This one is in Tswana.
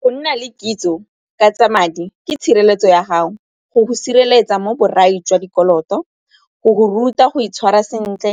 Go nna le kitso ka tsa madi ke tshireletso ya gago go sireletsa mo borai jwa dikoloto, go go ruta go itshwara sentle